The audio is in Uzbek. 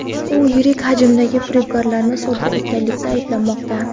U yirik hajmdagi firibgarlikni sodir etganlikda ayblanmoqda.